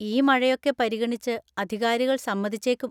ഈ മഴയൊക്കെ പരിഗണിച്ച് അധികാരികൾ സമ്മതിച്ചേക്കും.